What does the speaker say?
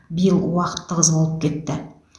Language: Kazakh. биыл уақыт тығыз болып кетті